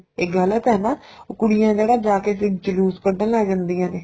ਇਹ ਗਲਤ ਏ ਨਾ ਕੁੜੀਆਂ ਕਿਹੜਾ ਜਾ ਕੇ ਜਲੂਸ ਕੱਡਣ ਲੱਗ ਜਾਂਦੀਆਂ ਨੇ